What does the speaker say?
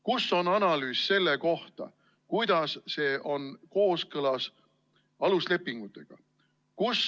Kus on analüüs selle kohta, kuidas see eelnõu on kooskõlas aluslepingutega?